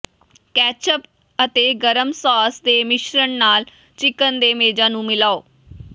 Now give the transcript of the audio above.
ketchup ਅਤੇ ਗਰਮ sauce ਦੇ ਮਿਸ਼ਰਣ ਨਾਲ ਚਿਕਨ ਦੇ ਮੇਜ਼ਾਂ ਨੂੰ ਮਿਲਾਓ